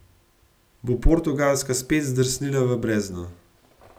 Bo Portugalska spet zdrsnila v brezno?